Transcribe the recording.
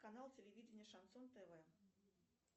канал телевидения шансон тв